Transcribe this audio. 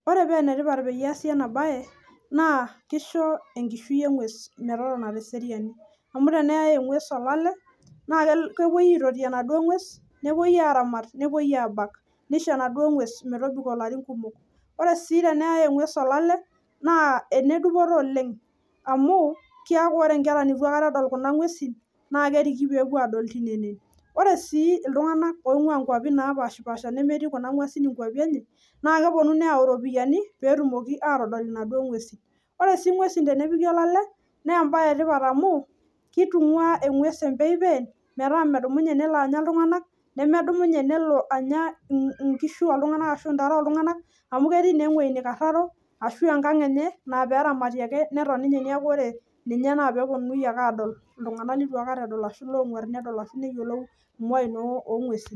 Ore peenetipat peyie eesi ena bae naa kisho enkishuo enguess metotona te seriani , amu teneyai enguess olale tepoi aitoti, nepoi aramat nepoiaabak, nisho enaduoo ng'ues metobiko ilarin kumok ore sii teneyae inguesi olale naa enedupoto oleng amuu keeku kore inkera netu aikata edol kuna ng'uesi naa keriki peepuo adol tine, ore sii iltungana oinguaa wuejitin naapashipaasha nemetii kuna ng'uesi ikuapi enye naa kepuonu neyau iropiyani peetumoki atodol naduoo ng'uesi, ore sii inguesi tenepiki olale naa embae etipat amuu kitunguaa enguess empepeen meetaa metumoki aitanyamala iltungana neeku menya inkishu , arashu ntare oltungana amuu ketii naa ewuei neikarraro ashua enkang enye naaperamati ake ninye ashu epoi aramat iltungana ooguarr.